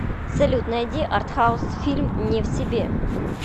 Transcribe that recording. салют найди артхаус фильм не в себе